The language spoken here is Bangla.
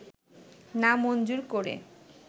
না মঞ্জুর করে